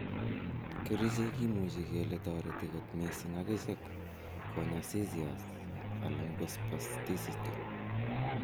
Kerichek kimuche kele toreti kot mising akichek konya seizures alan ko spasticity.